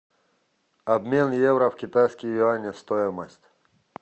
обмен евро в китайские юани стоимость